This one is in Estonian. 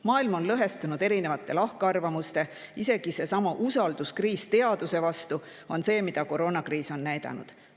Maailm on lõhestunud erinevate lahkarvamuste, isegi seesama usalduskriis teaduse vastu, mida koroonakriis on näidanud.